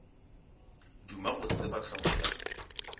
duma go tseba hlogo ya